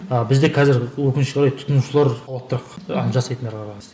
а бізде қазір өкінішке қарай тұтынушылар жасайтындарға